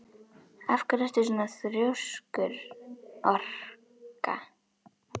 Af hverju ertu svona þrjóskur, Orka?